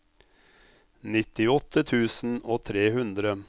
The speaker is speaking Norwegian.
nittiåtte tusen og tre hundre